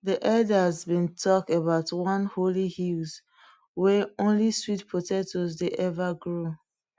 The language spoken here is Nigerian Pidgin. de elders been talk about one holy hill wey only sweet potatoes dey ever grow